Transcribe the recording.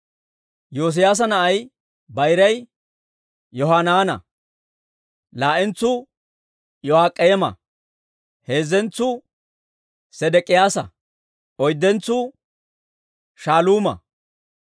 Yoosiyaasa na'ay bayray Yohanaana; laa"entsuu Yo'aak'eema; heezzentsuu Sedek'iyaasa; oyddentsuu Shaaluuma.